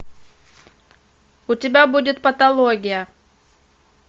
у тебя будет патология